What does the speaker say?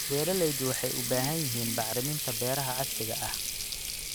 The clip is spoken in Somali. Beeraleydu waxay u baahan yihiin bacriminta beeraha casriga ah.